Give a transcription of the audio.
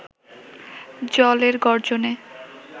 জলের গর্জনে